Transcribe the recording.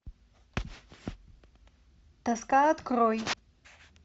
тоска открой